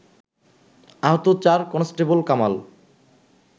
আহত চার কনস্টেবল কামাল